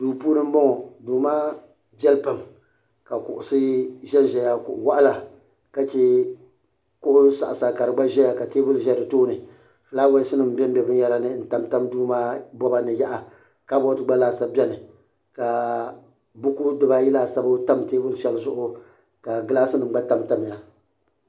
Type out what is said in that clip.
duu puuni n bɔŋɔ duu maa viɛli pam ka kuɣusi ʒɛnʒɛya kuɣu waɣala ka chɛ kuɣu saɣasa ka di gba ʒɛya ka teebuli ʒɛ di tooni fulaawɛs nim bɛnbɛ binyɛra ni n tamtam duu maa ni yaha kabood gba laasabu biɛni ka buku dibayi laasabu tam teebuli shɛli zuɣu ka gilaas nim gba tamtamya